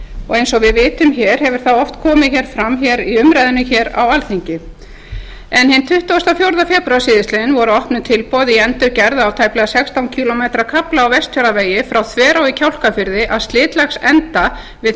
og eins og við vitum hér hefur það oft komið fram í umræðunni hér á alþingi hinn tuttugasta og fjórða febrúar síðastliðinn voru opnuð tilboð í endurgerð á tæplega sextán kílómetra kafla á vestfjarðavegi frá þverá í kjálkafirði að slitlagsenda við